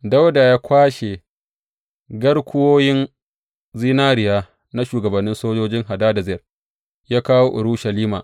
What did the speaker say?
Dawuda ya kwashe garkuwoyin zinariya na shugabannin sojojin Hadadezer ya kawo Urushalima.